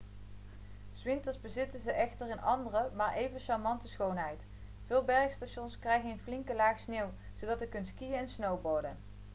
s winters bezitten ze echter een andere maar even charmante schoonheid veel bergstations krijgen een flinke laag sneeuw zodat u er kunt skiën en snowboarden